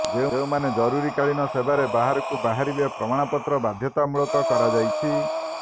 ଯେଉଁମାନେ ଜରୁରିକାଳୀନ ସେବାରେ ବାହାରକୁ ବାହାରିବେ ପ୍ରମାଣପତ୍ର ବାଧ୍ୟତାମୂଳକ କରାଯାଇଛି